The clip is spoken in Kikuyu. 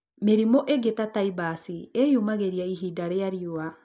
Mĩrimũ ingĩ ta taibas ĩĩyumĩragia ihinda rĩa riũa